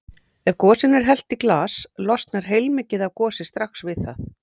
Ef gosinu er hellt í glas losnar heilmikið af gosi strax við það.